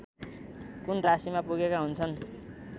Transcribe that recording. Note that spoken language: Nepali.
कुन राशीमा पुगेका हुन्छन्